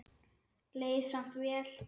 Leið samt vel.